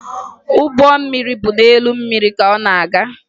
Ụgbọ mmiri bụ n'elu mmiri ka ọ na-aga